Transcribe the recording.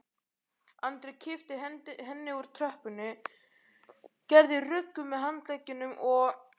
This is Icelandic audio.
Andri kippti henni úr tröppunni, gerði ruggu með handleggjunum og